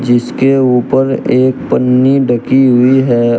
जिसके ऊपर एक पन्नी ढकी हुई है।